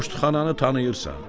Poştxananı tanıyırsan?